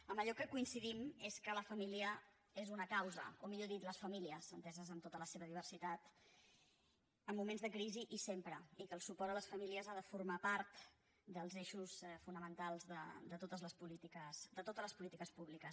en allò que coincidim és que la família és una cau·sa o millor dit les famílies enteses amb tota la seva diversitat en moments de crisi i sempre i que el su·port a les famílies ha de formar part dels eixos fona·mentals de totes les polítiques públiques